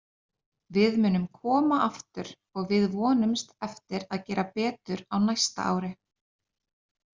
Við munum koma aftur og við vonumst eftir að gera betur á næsta ári.